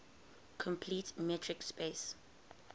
complete metric space